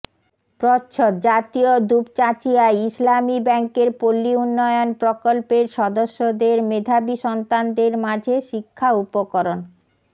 প্রচ্ছদ জাতীয় দুপচাঁচিয়ায় ইসলামী ব্যাংকের পল্লী উন্নয়ন প্রকল্পের সদস্যদের মেধাবী সন্তানদের মাঝে শিক্ষা উপকরণ